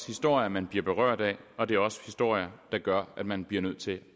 historier man bliver berørt af og det er også historier der gør at man bliver nødt til